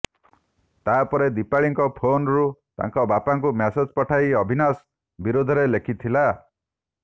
ତାପରେ ଦିପାଳୀଙ୍କ ଫୋନ୍ରୁ ତାଙ୍କ ବାପାଙ୍କୁ ମେସେଜ ପଠାଇ ଅବିନାଶ ବିରୋଧରେ ଲେଖିଥିଲା